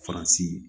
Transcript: Faransi